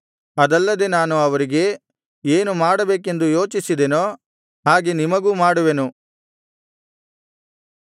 ಅದಲ್ಲದೆ ನಾನು ಅವರಿಗೆ ಏನು ಮಾಡಬೇಕೆಂದು ಯೋಚಿಸಿದೇನೋ ಹಾಗೆ ನಿಮಗೂ ಮಾಡುವೆನು